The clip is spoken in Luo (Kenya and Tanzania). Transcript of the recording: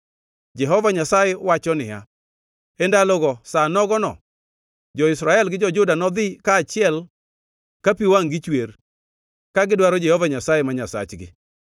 Jehova Nyasaye wacho niya, “E ndalogo, sa nogono, jo-Israel gi jo-Juda nodhi kaachiel ka pi wangʼ-gi chwer, ka gidwaro Jehova Nyasaye ma Nyasachgi.